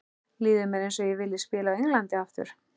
Líður mér eins og ég vilji spila á Englandi aftur?